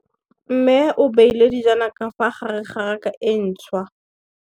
Mmê o beile dijana ka fa gare ga raka e ntšha.